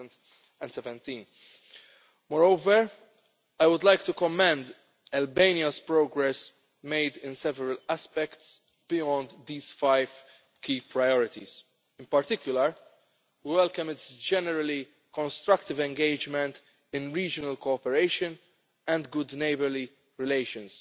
2017. Moreover, I would like to commend Albania's progress made in several aspects beyond these five key priorities. In particular, we welcome its generally constructive engagement in regional cooperation and good neighbourly relations,